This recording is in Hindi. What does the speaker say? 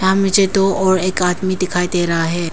दो ओर एक आदमी दिखायी दे रहा है।